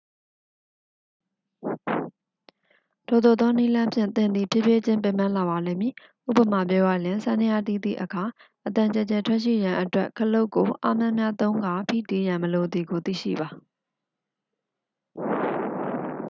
ထိုသို့သောနည်းလမ်းဖြင့် သင်သည် ဖြည်းဖြည်းချင်း ပင်ပန်းလာပါလိမ့်မည် ဉပမာပြောရလျှင် စန္ဒယားတီးသည့်အခါ အသံကျယ်ကျယ်ထွက်ရှိရန်အတွက် ခလုတ်ကိုအားများများသုံးကာ ဖိတီးရန် မလိုသည်ကို သိရှိပါ